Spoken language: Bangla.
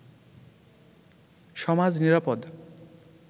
সমাজ নিরাপদ